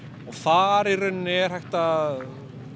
og þar í raun er hægt að